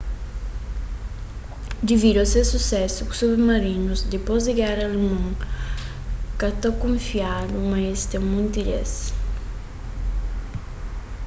devidu a ses susésu ku submarinus dipôs di géra alemon ka ta kunfiadu ma es ten monti des